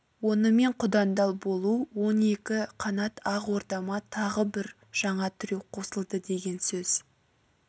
онымен құдандал болу он екі қанат ақ ордама тағы да бір жаңа тіреу қосылды деген сөз